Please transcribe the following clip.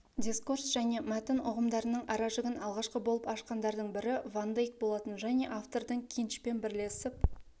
дискурс және мәтін ұғымдарының аражігін алғашқы болып ашқандардың бірі ван дейк болатын және автордың кинчпен бірлесіп